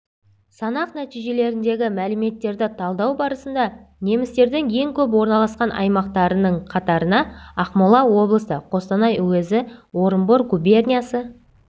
санақ нәтижелеріндегі мәліметтерді талдау барысында немістердің ең көп орналасқан аймақтарының қатарына ақмола облысы қостанай уезі орынбор губерниясы